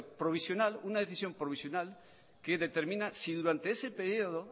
provisional una decisión provisional que determina si durante ese periodo